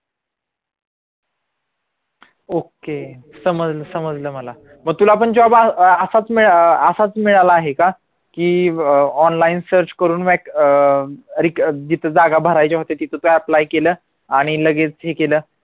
okay समजलं समजलं मला मग तुला पण job असाच असाच मिळाला आहे का? की अं online search करून vacancy अं जिथं जागा भराय पाहिजे होत्या तिथं apply केलं आणि लगेच हे केलं